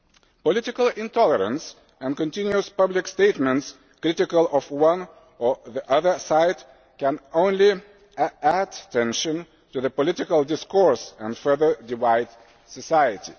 Political intolerance and continuous public statements critical of one or the other side can only add tension to the political discourse and further divide society.